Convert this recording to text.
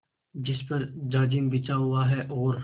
जिस पर जाजिम बिछा हुआ है और